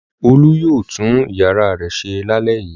Olú yóò tún ìyàrá rẹ̀ ṣe lálẹ́ yìí.